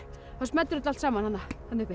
þá smellur þetta allt saman þarna uppi